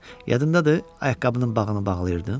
Yadındadır, ayaqqabının bağını bağlayırdın?